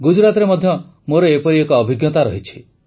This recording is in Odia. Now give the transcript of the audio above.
ଗୁଜରାଟରେ ମଧ୍ୟ ମୋର ଏପରି ଏକ ବ୍ୟକ୍ତିଗତ ଅଭିଜ୍ଞତା ରହିଛି